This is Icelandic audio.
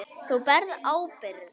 Þú berð ábyrgð.